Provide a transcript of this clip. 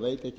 rekja